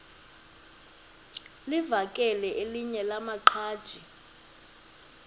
livakele elinye lamaqhaji